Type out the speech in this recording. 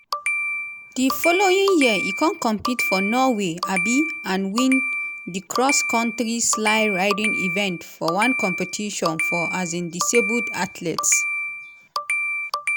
di following year e con compete for norway um and win di cross-country sleigh-riding event for one competition for um disabled athletes.